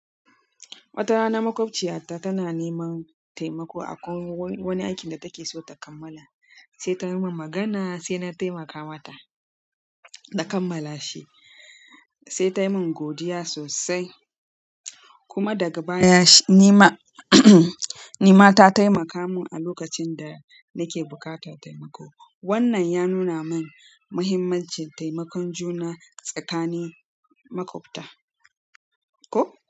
Wata rana maƙwabciyata tana neman taimako akwai wani aikin da take so ta kammala, sai ta yi min magana sai na taimaka mata da kammala shi, sai ta yi min godiya sosai. Kuma daga baya nima nima ta taimaka min a lokacin da nake buƙatar taimako. Wannan ya nuna min muhimmancin taimakon juna tsakanin maƙwabta, ko?